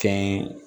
Kɛ n ye